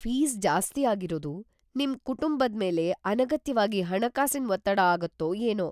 Fees ಜಾಸ್ತಿ ಆಗಿರೋದು ನಿಮ್ ಕುಟುಂಬದ್ಮೇಲೆ ಅನಗತ್ಯವಾಗಿ ಹಣಕಾಸಿನ್ ಒತ್ತಡ ಆಗತ್ತೋ ಏನೋ.